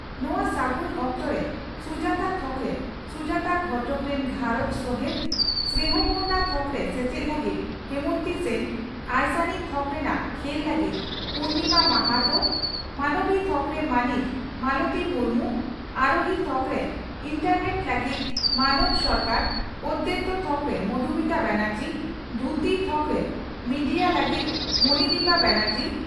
ᱱᱚᱣᱟ ᱥᱟᱹᱜᱩᱱ ᱚᱠᱛᱚᱨᱮ ᱥᱩᱡᱟᱛᱟ ᱛᱷᱚᱠᱨᱮ ᱥᱩᱡᱟᱛᱟ ᱜᱷᱚᱴᱚᱠ ᱨᱤᱱ ᱜᱷᱟᱨᱚᱸᱡᱽ ᱥᱚᱦᱮᱛ, ᱥᱱᱮᱦᱚᱯᱩᱨᱱᱟ ᱛᱷᱚᱠᱨᱮ ᱥᱮᱪᱮᱫ ᱞᱟᱹᱜᱤᱫ ᱦᱮᱢᱚᱱᱛᱤ ᱥᱮᱱ, ᱟᱭᱥᱟᱱᱤ ᱛᱷᱚᱠ ᱨᱮᱱᱟᱜ ᱠᱷᱮᱞ ᱞᱟᱹᱜᱤᱫ ᱯᱩᱨᱱᱤᱢᱟ ᱢᱟᱦᱟᱛᱚ, ᱢᱟᱱᱚᱵᱤ ᱛᱷᱚᱠᱨᱮ ᱢᱟᱹᱱᱤᱡ ᱢᱟᱞᱚᱛᱤ ᱢᱩᱨᱢᱩ, ᱟᱨᱚᱦᱤ ᱛᱷᱚᱠᱨᱮ ᱮᱱᱴᱟᱨᱱᱮᱴ ᱞᱟᱹᱜᱤᱫ ᱢᱟᱱᱚᱠᱚ ᱥᱚᱨᱠᱟᱨ, ᱚᱫᱮᱛᱭᱚ ᱛᱷᱚᱠᱨᱮ ᱢᱚᱫᱷᱩᱢᱤᱛᱟ ᱢᱩᱠᱷᱟᱨᱡᱤ, ᱫᱷᱭᱩᱛᱤ ᱛᱷᱚᱠᱨᱮ ᱢᱮᱰᱤᱭᱟ ᱞᱟᱹᱜᱤᱫ ᱢᱚᱱᱤᱫᱤᱯᱟ ᱵᱟᱱᱮᱨᱡᱤ